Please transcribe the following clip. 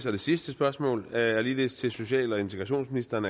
og sidste spørgsmål er er ligeledes til social og integrationsministeren